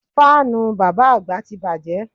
Fáànù bàbá àgbà ti bàjẹ́